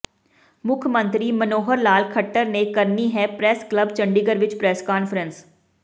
ਮੁੱਖ ਮੰਤਰੀ ਮਨੋੋਹਰ ਲਾਲ ਖੱਟੜ ਨੇ ਕਰਨੀ ਹੈ ਪ੍ਰੈਸ ਕਲੱਬ ਚੰਡੀਗੜ੍ਹ ਵਿਖੇ ਪ੍ਰੈੱਸ ਕਾਨਫਰੰਸ